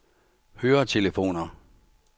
høretelefoner